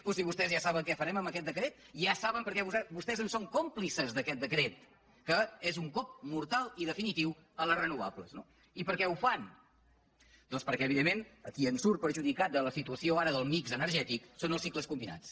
però si vostès ja saben què farem amb aquest decret ja saben perquè vostès en són còmplices d’aquest decret que és un cop mortal i definitiu a les renovables no i per què ho fan doncs perquè evidentment qui en surt perjudicat de la situació ara del mixnats